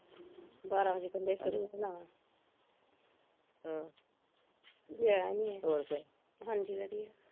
ਬਾਰਾ ਵਜੇ ਕਹਿੰਦੇ ਸ਼ੁਰੂ ਹੋਨਾ ਨਾ ਹਮ ਗਿਆ ਈ ਨੀ ਏਹ ਹਾਂਜੀ ਵਧੀਆ